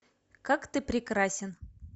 как ты прекрасен